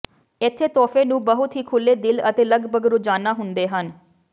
ਇੱਥੇ ਤੋਹਫੇ ਨੂੰ ਬਹੁਤ ਹੀ ਖੁੱਲ੍ਹੇ ਦਿਲ ਅਤੇ ਲਗਭਗ ਰੋਜ਼ਾਨਾ ਹੁੰਦੇ ਹਨ